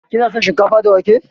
Kina son shinkafa da wake?